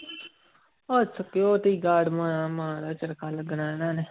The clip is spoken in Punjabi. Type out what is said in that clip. ਉਹ security guard ਲੱਗਣਾ ਇਹਨਾਂ ਨੇ।